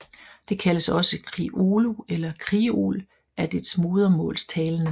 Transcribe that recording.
Det kaldes også Kriolu eller Kriol af dets modersmålstalende